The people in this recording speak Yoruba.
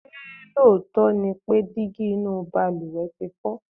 ṣé lóòótọ́ ni pé dígí inú ìbalùwẹ̀ ti fọ?